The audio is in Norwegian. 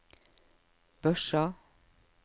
Børsa